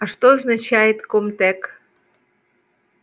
а что означает ком-тек